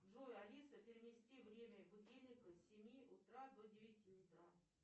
джой алиса перенести время будильника с семи утра до девяти утра